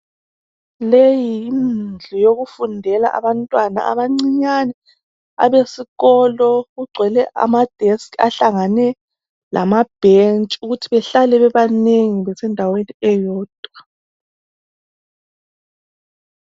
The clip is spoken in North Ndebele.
leyi yindlu eyokufundela yabantwana abancinyene abesikolo kugwele amadesikhi ahlangane lamabhentshi ukuze behlale beba nengi endaweni ewodwa.